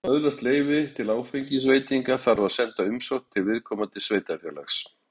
til að öðlast leyfi til áfengisveitinga þarf að senda umsókn til viðkomandi sveitarfélags